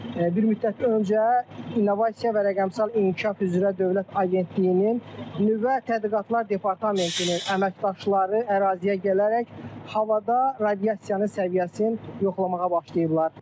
Bir müddət öncə innovasiya və rəqəmsal inkişaf üzrə Dövlət Agentliyinin nüvə tədqiqatlar departamentinin əməkdaşları əraziyə gələrək havada radiasiyanın səviyyəsini yoxlamağa başlayıblar.